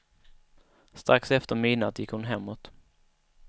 Strax efter midnatt gick hon hemåt.